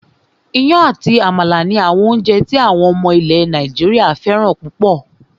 Iyán àti àmàlà ni àwọn oúnjẹ tí àwọn ọmọ ilẹ̀ Nàìjíríà fẹ́ràn púpọ̀